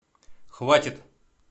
хватит